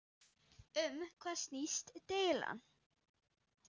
Um hvað snýst deilan?